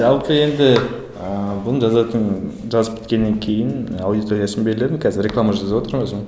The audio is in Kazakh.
жалпы енді ыыы бұны жазатын жазып біткеннен кейін аудиториясын белгіледім қазір реклама жазыватырмын өзім